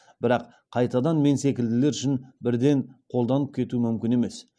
бірақ қайтадан мен секілділер үшін бірден қолданып кету мүмкін емес